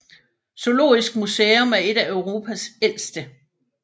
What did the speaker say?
Zoologisk Museum er et af Europas ældste